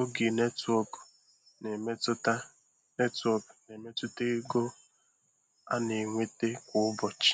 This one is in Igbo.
oge netwọk na-emetụta netwọk na-emetụta ego a na-enweta kwa ụbọchị.